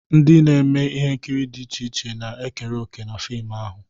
Ndị na-eme ihe nkiri dị iche iche na-ekere òkè na fim ahụ.